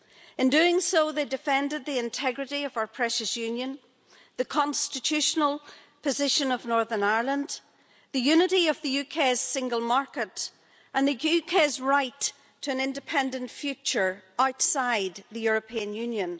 In doing so, they defended the integrity of our precious Union, the constitutional position of Northern Ireland, the unity of the UK's single market and the UK's right to an independent future outside the European Union.